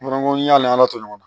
N ko n'ala to ɲɔgɔn na